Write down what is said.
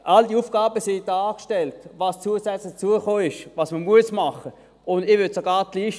All diese Aufgaben, die zusätzlich hinzugekommen sind und die man machen muss, werden dargestellt.